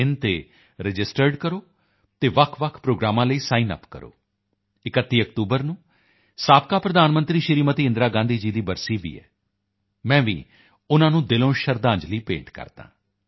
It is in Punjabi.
in ਤੇ ਰਜਿਸਟਰਡ ਕਰੋ ਅਤੇ ਵੱਖਵੱਖ ਪ੍ਰੋਗਰਾਮਾਂ ਲਈ ਸਾਈਨਅੱਪ ਕਰੋ 31 ਅਕਤੂਬਰ ਨੂੰ ਸਾਬਕਾ ਪ੍ਰਧਾਨ ਮੰਤਰੀ ਸ਼੍ਰੀਮਤੀ ਇੰਦਰਾ ਗਾਂਧੀ ਦੀ ਬਰਸੀ ਵੀ ਹੈ ਮੈਂ ਵੀ ਉਨ੍ਹਾਂ ਨੂੰ ਦਿਲੋਂ ਸ਼ਰਧਾਂਜਲੀ ਭੇਂਟ ਕਰਦਾ ਹਾਂ